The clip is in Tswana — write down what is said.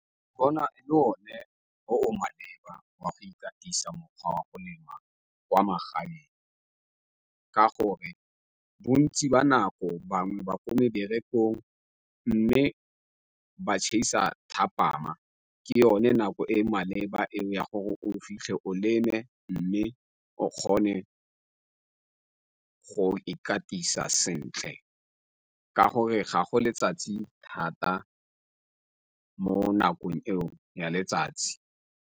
Ke bona e le o ne o o maleba wa go ikatisa mokgwa wa go lema kwa magaeng ka gore bontsi ba nako bangwe ba ko meberekong mme ba thapama ke yone nako e maleba eo ya gore o fitlhe o leme mme o kgone go ikatisa sentle, ka gore ga go letsatsi thata mo nakong eno ya letsatsi.